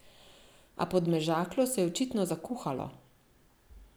A Podmežaklo se je očitno zakuhalo.